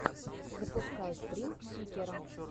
запускай стрим сикера